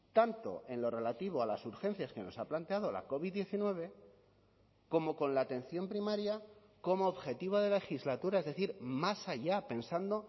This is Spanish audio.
tanto en lo relativo a las urgencias que nos ha planteado la covid diecinueve como con la atención primaria como objetivo de legislatura es decir más allá pensando